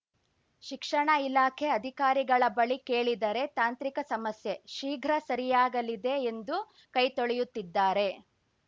ಶಿಕ್ಷಣ ಇಲಾಖೆ ಅಧಿಕಾರಿಗಳ ಬಳಿ ಕೇಳಿದರೆ ತಾಂತ್ರಿಕ ಸಮಸ್ಯೆ ಶೀಘ್ರ ಸರಿಯಾಗಲಿದೆ ಎಂದು ಕೈತೊಳೆಯುತ್ತಿದ್ದಾರೆ